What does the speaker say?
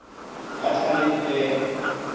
data link layer